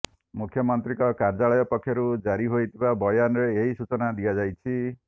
ମୁଖ୍ୟମନ୍ତ୍ରୀଙ୍କ କାର୍ଯ୍ୟାଳୟ ପକ୍ଷରୁ ଜାରି ହୋଇଥିବା ବୟାନରେ ଏହି ସୂଚନା ଦିଆଯାଇଛି